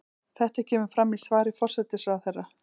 Þetta kemur fram í svari forsætisráðherra